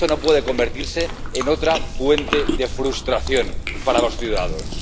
Esto no puede convertirse en otra fuente de frustración para los ciudadanos.